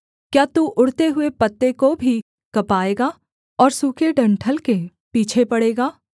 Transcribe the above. क्या तू उड़ते हुए पत्ते को भी कँपाएगा और सूखे डंठल के पीछे पड़ेगा